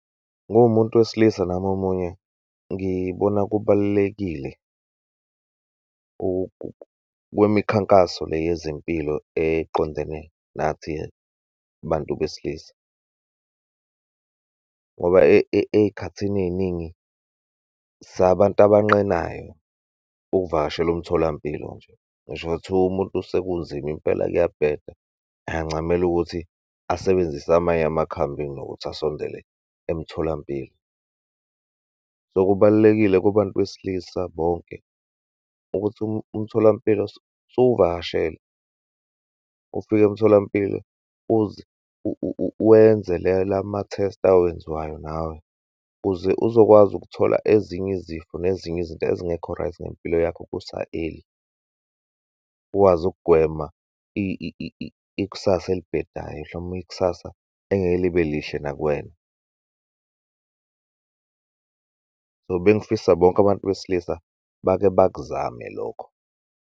Nguwumuntu wesilisa nami omunye, ngibona kubalulekile kwemikhankaso le yezempilo eqondene nathi bantu besilisa, ngoba eyikhathini eyiningi, sabantu abanqenayo ukuvakashela umtholampilo nje. Ngisho ngathiwa umuntu sekunzima impela kuyabheda, angancamela ukuthi asebenzise amanye amakhambi kunokuthi asondele emtholampilo. So, kubalulekile kubantu besilisa bonke ukuthi umtholampilo suwuvakashela. Ufike emtholampilo wenze le lama-test awenziwayo nawe, ukuze uzokwazi ukuthola ezinye izifo nezinye izinto ezingekho right ngempilo yakho, kusa-early, ukwazi ukugwema ikusasa elibhedayo, noma ikusasa engeke libelihle nakuwena. So, bengifisa bonke abantu besilisa bake bakuzame lokho.